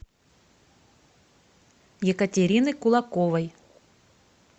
екатерины кулаковой